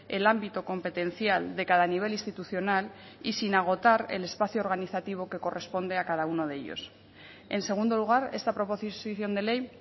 el ámbito competencial de cada nivel institucional y sin agotar el espacio organizativo que corresponde a cada uno de ellos en segundo lugar esta proposición de ley